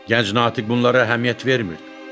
Gənc natiq bunlara əhəmiyyət vermirdi.